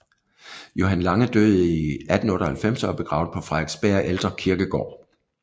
Johan Lange døde i 1898 og er begravet på Frederiksberg Ældre Kirkegård